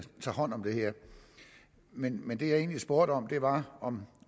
tager hånd om det her men men det jeg egentlig spurgte om var om